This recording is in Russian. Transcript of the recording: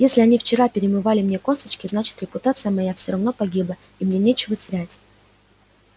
если они вчера перемывали мне косточки значит репутация моя все равно погибла и мне нечего терять